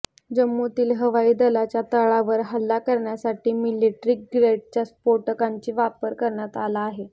जम्मूतील हवाई दलाच्या तळावर हल्ला करण्यासाठी मिलिट्री ग्रेडच्या स्फोटकांचा वापर करण्यात आला होता